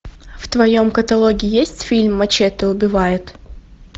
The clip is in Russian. в твоем каталоге есть фильм мачете убивает